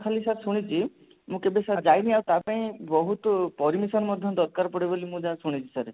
ଖାଲି sir ଶୁଣିଛି ମୁଁ କେବେ sir ଯାଇନି ଆଉ ତା ପାଇଁ କିନ୍ତୁ ତାପାଇଁ ବହୁତ permission ମଧ୍ୟ ଦରକାର ପଡେ ବୋଲି ମୁଁ ଯାହା ଶୁଣିଚି sir